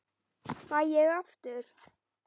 Fæ ég aftur?